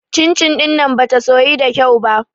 Cin-cin ɗin nan bata soyu da kyau ba.